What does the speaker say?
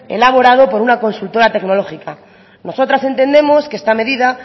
elaborado por una consultora tecnológica nosotras entendemos que esta medida